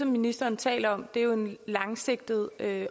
ministeren taler om er en langsigtet